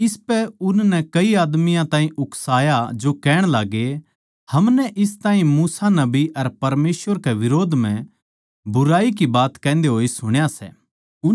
इसपै उननै कई आदमियाँ ताहीं उकसाया जो कहण लाग्गे हमनै इस ताहीं मूसा नबी अर परमेसवर कै बिरोध म्ह बुराई की बात कहन्दे होए सुण्या सै